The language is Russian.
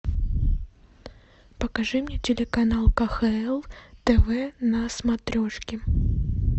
покажи мне телеканал кхл тв на смотрешке